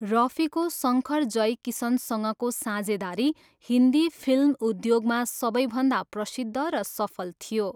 रफीको शङ्कर जयकिसनसँगको साझेदारी हिन्दी फिल्म उद्योगमा सबैभन्दा प्रसिद्ध र सफल थियो।